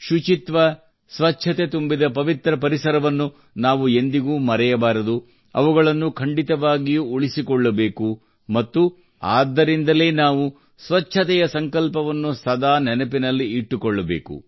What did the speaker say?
ಶುಚಿತ್ವ ಸ್ವಚ್ಛತೆ ತುಂಬಿದ ಪವಿತ್ರ ಪರಿಸರವನ್ನು ನಾವು ಎಂದಿಗೂ ಮರೆಯಬಾರದು ಅವುಗಳನ್ನು ಖಂಡಿತವಾಗಿಯೂ ಉಳಿಸಿಕೊಳ್ಳಬೇಕು ಮತ್ತು ಆದ್ದರಿಂದಲೇ ನಾವು ಸ್ವಚ್ಛತೆಯ ಸಂಕಲ್ಪವನ್ನು ಸದಾ ನೆನಪಿನಲ್ಲಿ ಇಟ್ಟುಕೊಳ್ಳಬೇಕು